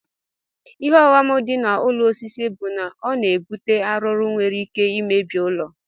Ihe ọghọm di na ụlọ osisi bu na ọna ebute arụrụ nwere ike imebi ụlọ.